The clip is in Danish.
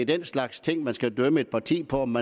den slags ting man skal dømme et parti på om